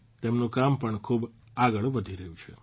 તેમનું કામ પણ ખૂબ આગળ વધી રહ્યું છે